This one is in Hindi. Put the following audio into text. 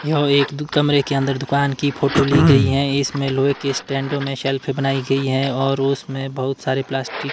यह एक दु कमरे के अंदर दुकान की फोटो ली गई हैं इसमें लोहे की स्टैंडों में शेल्फ बनाई गई हैं और उसमें बहोत सारे प्लास्टिक --